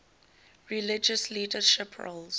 religious leadership roles